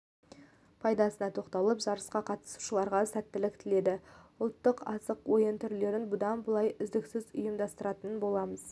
пайдасына тоқталып жарысқа қатысушыларға сәттілік тіледі ұлттық асық ойын түрлерін бұдан былай үздіксіз ұйымдастыратын боламыз